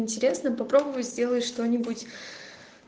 интересно попробуй сделай что-нибудь